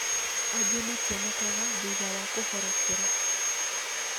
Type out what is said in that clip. Angĩ mationekaga thutha wa kũhorokera